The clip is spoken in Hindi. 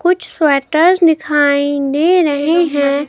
कुछ स्वेटर दिखाई दे रहे हैं।